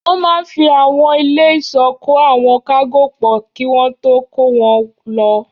Wọ́n máa n fi àwọn ilé ìsọ́ kó àwọn kágò pọ̀ kí wọ́n tó kó wọn lọ